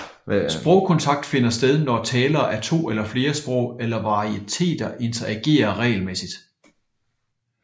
Sprogkontakt finder sted når talere af to eller flere sprog eller varieteter interagerer regelmæssigt